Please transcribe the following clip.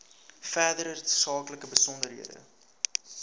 verdere tersaaklike besonderhede